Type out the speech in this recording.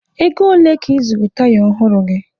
Ego ole ka ị zụrụ taya ọhụrụ gị?